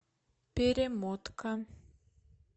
перемотка